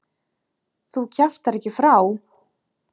Þú kjaftar ekki frá!